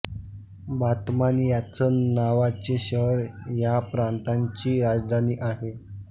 Batman ह्याच नावाचे शहर ह्या प्रांताची राजधानी आहे